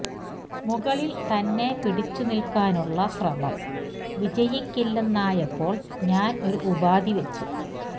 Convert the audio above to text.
മുകളില് തന്നെ പിടിച്ചു നില്ക്കാനുള്ള ശ്രമം വിജയിക്കില്ലെന്നായപ്പോള് ഞാന് ഒരു ഉപാധി വെച്ചു